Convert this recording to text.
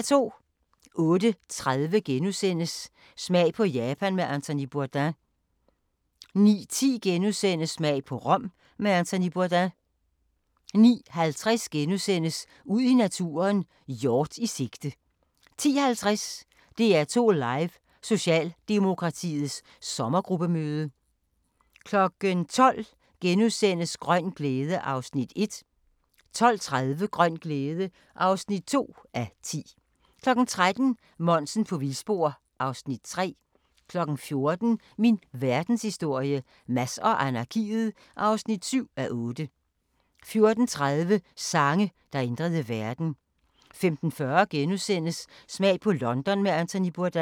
08:30: Smag på Japan med Anthony Bourdain * 09:10: Smag på Rom med Anthony Bourdain * 09:50: Ud i naturen: Hjort i sigte * 10:50: DR2 Live: Socialdemokratiets sommergruppemøde 12:00: Grøn glæde (1:10)* 12:30: Grøn glæde (2:10) 13:00: Monsen på vildspor (Afs. 3) 14:00: Min verdenshistorie - Mads og anarkiet (7:8) 14:30: Sange, der ændrede verden 15:40: Smag på London med Anthony Bourdain *